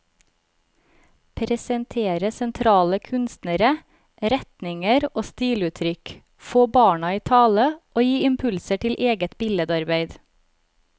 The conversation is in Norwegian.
Presentere sentrale kunstnere, retninger og stiluttrykk, få barna i tale og gi impulser til eget billedarbeid.